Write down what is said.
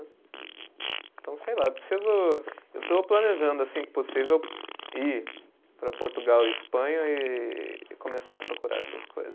Então, sei lá, eu preciso. Eu estou planejando, assim que possível, ir para Portugal e Espanha e e começar a procurar essas coisas.